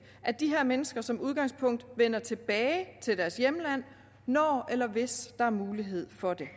at de her mennesker som udgangspunkt vender tilbage til deres hjemland når eller hvis der er mulighed for det